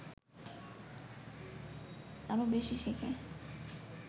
আরও বেশি শেখে